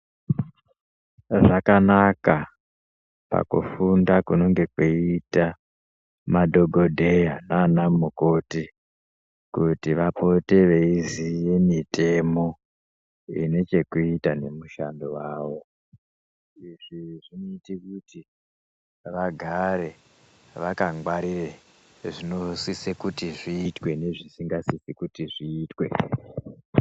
Zvakanaka pakufunda kunonge kweita madhokodheya nana mukoti kuti vapote veiziye mitemo ine chekuita nemishando yavo. Zvinozoita kuti vagare vakangwarira zvinosise kuti zviitwe nezvisingasise kuti zviitwe.